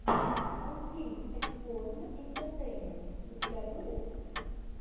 мультфильм эксплозм интертеймент у тебя будет